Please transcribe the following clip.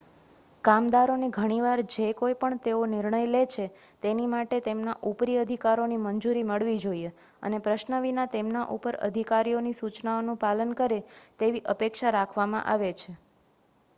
કામદારોને ઘણી વાર જે કોઈ પણ તેઓ નિર્ણય લે છે તેની માટે તેમના ઉપરી અધિકારીઓની મંજૂરી મળવી જોઈએ અને પ્રશ્ન વિના તેમના ઉપર અધિકારીઓની સૂચનાઓનું પાલન કરે તેવી અપેક્ષા રાખવામાં આવે છે